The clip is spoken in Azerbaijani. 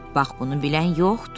Bax bunu bilən yoxdur.